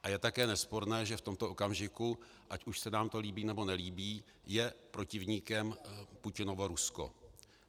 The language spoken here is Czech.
A je také nesporné, že v tomto okamžiku, ať už se nám to líbí, nebo nelíbí, je protivníkem Putinovo Rusko.